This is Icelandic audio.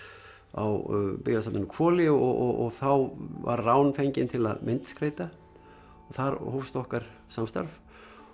á Byggðasafninu á Hvoli og þá var Rán fengin til að myndskreyta og þar hófst okkar samstarf